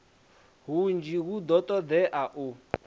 hunzhi hu do todea u